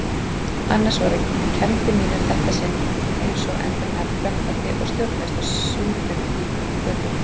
Annars voru kenndir mínar í þetta sinn einsog endranær flöktandi og stjórnuðust af sundurlíkum hvötum.